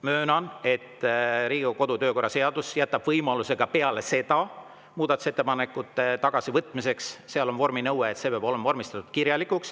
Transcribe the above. Möönan, et Riigikogu kodu‑ ja töökorra seadus jätab võimaluse ka peale seda muudatusettepanekuid tagasi võtta, aga seal on vorminõue, et see peab olema vormistatud kirjalikult.